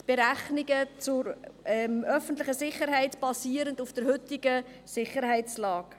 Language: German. Die Berechnungen zum Aufwand der öffentlichen Sicherheit basieren auf der heutigen Sicherheitslage.